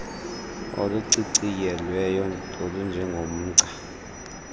oluciciyelweyo olunje ngomgca